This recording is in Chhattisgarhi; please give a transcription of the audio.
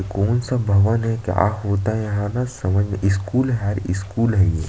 कौन सा भवन है क्या होता है यहाँ न समझ स्कूल हैं स्कूल है ये --